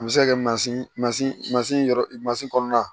A bɛ se ka kɛ mansin mansin masin yɔrɔ mansin kɔnɔna